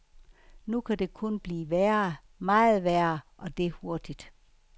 Nu kan det kun blive værre, meget værre, og det hurtigt.